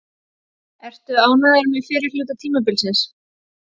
Ertu ánægður með fyrri hluta tímabilsins?